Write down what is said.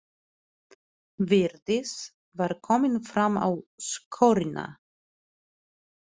Vigdís var komin fram á skörina.